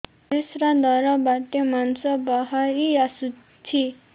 ପରିଶ୍ରା ଦ୍ୱାର ବାଟେ ମାଂସ ବାହାରି ଆସୁଛି